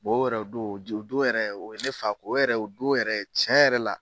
Bɔn o yɛrɛ o don o don yɛrɛ o ye ne fa o yɛrɛ o don yɛrɛ cɛn yɛrɛ la